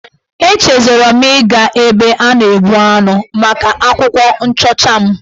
Echezọrọ m ịga ebe a na-egbu anụ maka akwụkwọ nchọcha m.